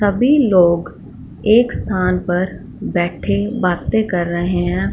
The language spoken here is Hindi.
सभी लोग एक स्थान पर बैठे बातें कर रहे हैं।